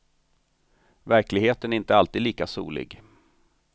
Verkligheten är inte alltid lika solig.